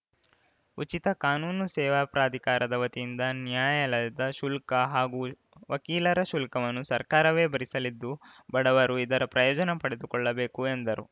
ಉಚಿತ ಕಾನೂನು ಸೇವಾ ಪ್ರಾಧಿಕಾರದ ವತಿಯಿಂದ ನ್ಯಾಯಾಲಯದ ಶುಲ್ಕ ಹಾಗೂ ವಕೀಲರ ಶುಲ್ಕವನ್ನು ಸರ್ಕಾರವೇ ಭರಿಸಲಿದ್ದು ಬಡವರು ಇದರ ಪ್ರಯೋಜನ ಪಡೆದುಕೊಳ್ಳಬೇಕು ಎಂದರು